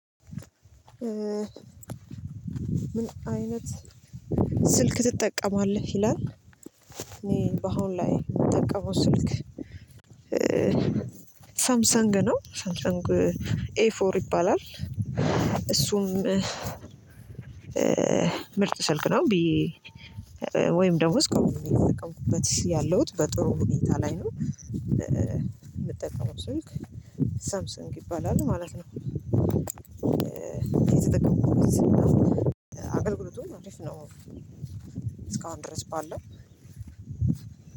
ምን አይነት ስልክ ትጠቀማለህ ይላል? እኔ በአሁን ላይ የምጠቀመው ስልክ ሳምሰንግ ነው ሳምሰንግ ኤ ፎር ይባላል። እሱም ምርጥ ስልክ ነው። ብዬ ወይም ደግሞ እስከአሁን እየተጠቀምኩበት ያለሁት በጥሩ ሁኔታ ላይ ነው የምጠቀመው ስልክ ሳምሰንግ ይባላል ማለት ነው። የተጠቀመው ተጠቅመው እስካሁን ድረስ ባለው